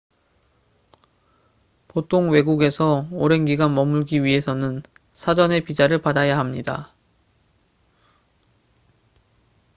보통 외국에서 오랜 기간 머물기 위해서는 사전에 비자를 받아야 합니다